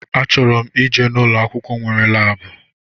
A chọrọ m ije ụlọ akwụkwọ nwere laabu